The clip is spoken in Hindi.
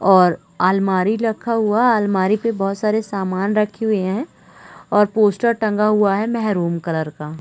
और आलमारी रखा हुआ है आलमारी पे बहोत सारे सामान रखी हुई है और पोस्टर टंगा हुआ है मेहरून कलर का--